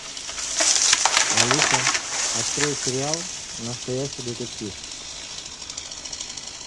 алиса открой сериал настоящий детектив